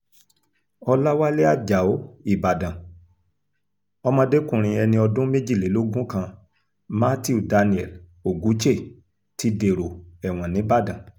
ọ̀làwálẹ̀ ajáò ìbàdàn ọmọdékùnrin ẹni ọdún méjìlélógún kan matthew daniel ogwuche ti dèrò ẹ̀wọ̀n nìbàdàn